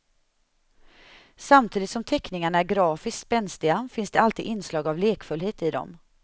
Samtidigt som teckningarna är grafiskt spänstiga finns det alltid inslag av lekfullhet i dem.